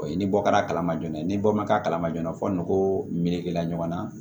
O ye ni bɔ kɛra a kalama joona ni bɔ ma k'a kalama joona fɔ n'o melegela ɲɔgɔn na